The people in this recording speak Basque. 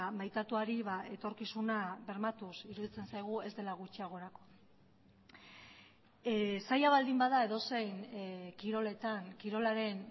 maitatuari etorkizuna bermatuz iruditzen zaigu ez dela gutxiagorako zaila baldin bada edozein kiroletan kirolaren